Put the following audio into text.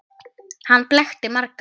Hann blekkti marga.